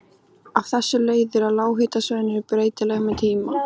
Af þessu leiðir að lághitasvæðin eru breytileg með tíma.